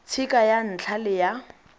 tshika ya ntlha le ya